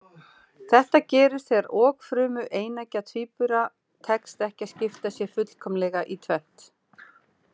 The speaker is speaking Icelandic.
Þetta gerist þegar okfrumu eineggja tvíbura tekst ekki að skipta sér fullkomlega í tvennt.